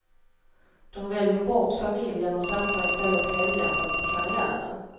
De väljer bort familjen och satsar istället helhjärtat på karriären.